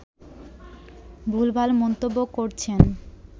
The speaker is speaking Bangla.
ভুলভাল মন্তব্য করছেন